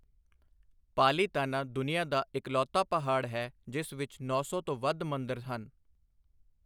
ਪਾਲੀਤਾਨਾ ਦੁਨੀਆ ਦਾ ਇਕਲੌਤਾ ਪਹਾੜ ਹੈ ਜਿਸ ਵਿੱਚ ਨੌਂ ਸੌ ਤੋਂ ਵੱਧ ਮੰਦਰ ਹਨ।